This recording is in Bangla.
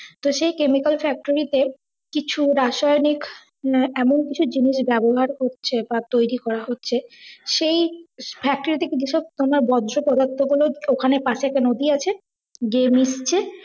তো সেই chemical factory তে কিছু রাসায়নিক মানে এমন কিছু জিনিস ব্যবহার করছে বা তৈরি করা হচ্ছে সেই factory থেকে যেসব তোমার বর্জ্য পদার্থ গুলো ওখানে পাসে একটা নদি আছে গিয়ে মিশছে,